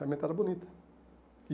Realmente era bonita. E